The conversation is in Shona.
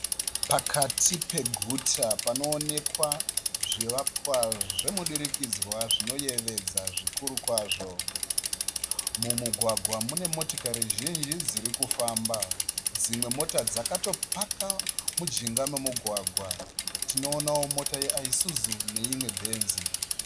Pakati peguta panoonekwa zvivakwa zvemudurikidzwa dzinoyevedza zvikuru kwazvo. Mumugwagwa mune motokari zhinji dzirikufamba. Dzimwe mota dzakatopaka mujinga memugwagwa. Tinoonawo mota yeIsuzu neimwe Benz.